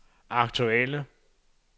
aktuelle